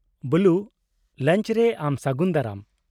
-ᱵᱚᱞᱩ ᱞᱟᱣᱧᱡ ᱨᱮ ᱟᱢ ᱥᱟᱹᱜᱩᱱ ᱫᱟᱨᱟᱢ ᱾